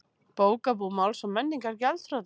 Bókabúð Máls og menningar gjaldþrota